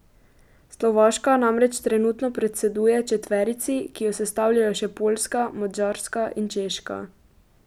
Slovaška namreč trenutno predseduje četverici, ki jo sestavljajo še Poljska, Madžarska in Češka.